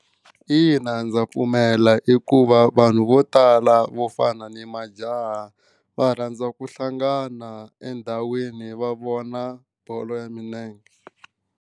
Ina ndza pfumela hikuva vanhu vo tala vo fana ni majaha va rhandza ku hlangana endhawini va vona bolo ya milenge.